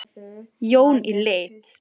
Jón í lit.